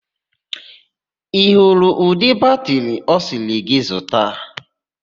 Ị hụrụ udị batịrị ọ sịrị gị zuta?